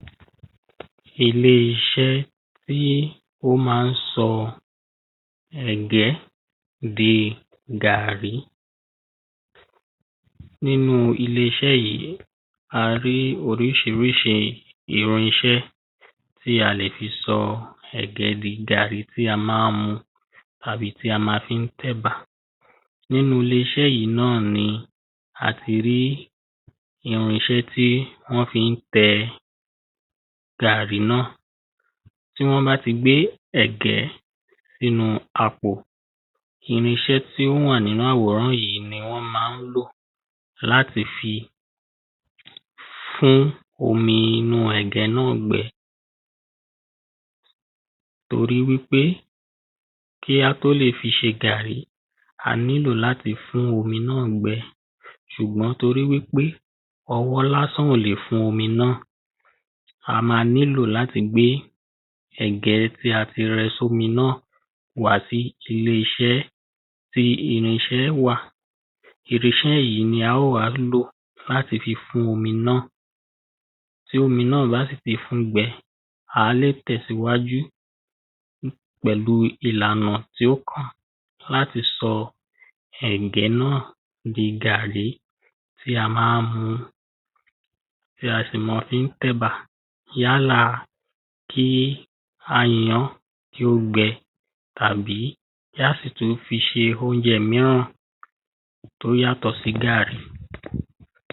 ilé-iṣẹ́ tí ó ma ń sọ ẹ̀gẹ́ di gàrrí nínu ilé yìí, a rí oriṣiríṣi irinṣẹ́ tí a le fi sọ ẹ̀gẹ́ di gàrrí tí a máa mu tàbí tí a máa fi tẹ̀bà nínu ilé-iṣẹ́ yìí náà ni a ti rí irinṣẹ́ tí wọ́n fi ń tẹ gàrrí náà tí wọ́n bá ti gbé ẹ̀gẹ́ sí inú àpò, irinṣẹ́ tí ó wà nínu àwòrán yìí ni wọ́n ma lò láti fi fún omi inú ẹ̀gẹ́ náà gbẹ torí wípé kí a tó lè fi ṣe gàrrí, a nílò láti fún omi náà gbẹ, ṣùgbọ́n torí wípé ọwọ́ lásán ò lè fún omi náà a máa nílò láti gbé ẹ̀gẹ́ tí a ti rẹ sí omi náà wá sí ilé-iṣẹ́ tí irinṣẹ́ wà irinṣẹ́ yìí àá wá lòó láti fún omi náà, tí omi náà bá sì ti fún gbẹ, àá lè tẹ̀síwájú pẹ̀lu ìlànà tí ó kàn láti fi sọ ẹ̀gẹ́ náà di gàrrí tí a máa mu, tí a sì máa fi tẹ̀bà, yálà kí a yan án kí ó gbẹ tàbí kí a sì tún fi ṣe óúnjẹ míràn tó yàtọ̀ sí gàrrí